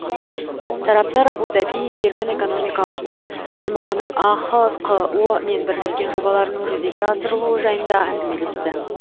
тараптар абу даби еркін экономикалық аймағының ахқо мен бірлескен жобаларының жүзеге асырылуы жайында әңгімелесті